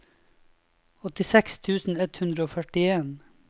åttiseks tusen ett hundre og førtien